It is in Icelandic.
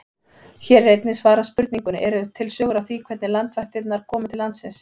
Hér er einnig svarað spurningunni: Eru til sögur af því hvernig landvættirnar komu til landsins?